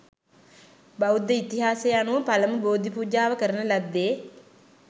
බෞද්ධ ඉතිහාසය අනුව පළමු බෝධි පූජාව කරන ලද්දේ